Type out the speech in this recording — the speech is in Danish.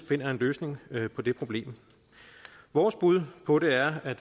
finder en løsning på det problem vores bud på det er at